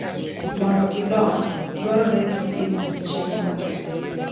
Mondo gidong, dwarore ni opidhgi gi chiemo maber.